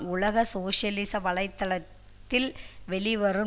உலக சோசியலிச வலை தளத்தில் வெளிவரும்